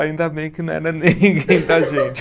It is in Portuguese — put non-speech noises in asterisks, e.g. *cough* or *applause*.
Ainda bem que não era ninguém da gente. *laughs*